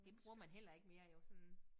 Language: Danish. Det bruger man heller ikke mere jo sådan